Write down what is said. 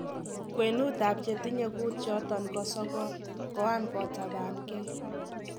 Kwenut ab chetinye kuutchoton ko sogol koan kotabaan ngei.